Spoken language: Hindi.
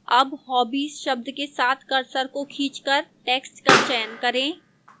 अब hobbies शब्द के साथ cursor को खींचकर text का चयन करें